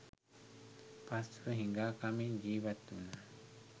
පසුව, හිඟා කමින් ජීවත් වුණා.